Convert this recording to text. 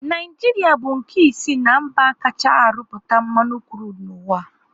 Naijiria bu nke isii na mba kachaa arụpụta mmanụ krudu n'uwa